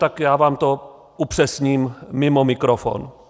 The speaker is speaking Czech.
Tak já vám to upřesním mimo mikrofon.